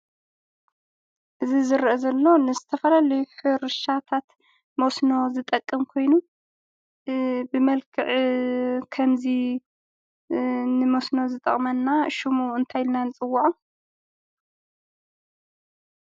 እዚ ዝርአ ዘሎ ንዝተፈላለዩ ሕርሻታት መስኖ ዝጠቅም ኮይኑ ብመልክዕ ከምዚ ንመስኖ ዝጠቅመና ሽሙ እንታይ ኢልና ንፅወዖ?